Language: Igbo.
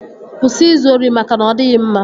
Kwụsị izu ori maka na ọ dịghị mma!